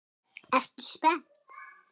Ertu spennt?